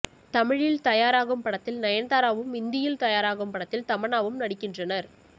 தமிழில் தயாராகும் படத்தில் நயன்தாராவும் இந்தியில் தயாராகும் படத்தில் தமன்னாவும் நடிக்கின்றனர்